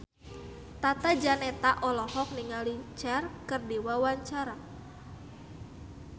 Tata Janeta olohok ningali Cher keur diwawancara